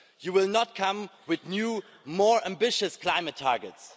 You will not come with new, more ambitious climate targets.